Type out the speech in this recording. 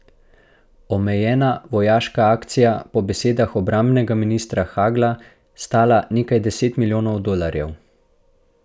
Omejena vojaška akcija bo po besedah obrambnega ministra Hagla stala nekaj deset milijonov dolarjev.